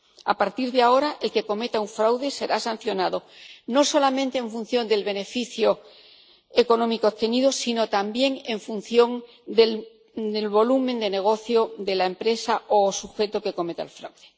A partir de ahora, el que cometa un fraude será sancionado, no solamente en función del beneficio económico obtenido sino también en función del volumen de negocio de la empresa o sujeto que cometa el fraude.